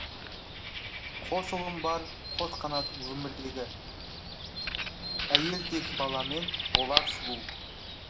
қос ұлым бар қос қанатым өмірдегі әйел тегі баламен болар сұлу